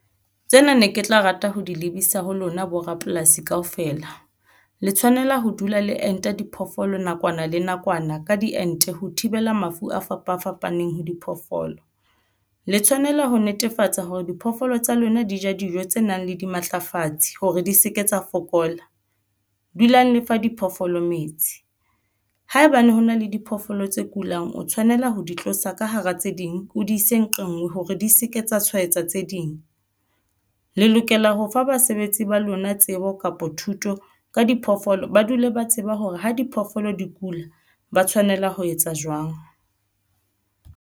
Tsena ne ke tla rata ho di lebisa ho lona. Borapolasi kaofela le tshwanela ho dula le enta diphoofolo nakwana le nakwana ka diente ho thibela mafu a fapa fapaneng ho diphoofolo le tshwanela ho netefatsa hore diphoofolo tsa lona di ja dijo tse nang le dimatlafatsi hore di se ke tsa fokola. Dulang lefa diphoofolo metsi haebane ho na le diphoofolo tse kulang o tshwanela ho di tlosa ka hara tse ding o di se nqe nngwe hore di se ke tsa tshwaetsa tse ding. Le lokela ho fa basebetsi ba lona tsebo kapa thuto ka diphoofolo. Ba dule ba tseba hore ha diphoofolo di kula ba tshwanela ho etsa jwang.